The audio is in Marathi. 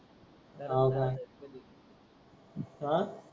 हव काय अं